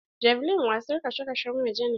Javelin wasar kasashen waje ne.